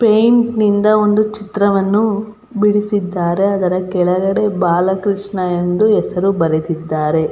Paint ನಿಂದ ಒಂದು ಚಿತ್ರವನ್ನು ಬಿಡಿಸಿದ್ದಾರೆ ಅದರ ಕೆಳಗಡೆ ಬಾಲಕ್ರಷ್ಣ ಎಂದು ಹೆಸರು ಬರೆದಿದ್ದಾರೆ .